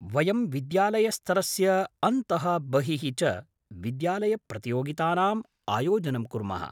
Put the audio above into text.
वयं विद्यालयस्तरस्य अन्तः बहिः च विद्यालयप्रतियोगितानाम् आयोजनं कुर्मः।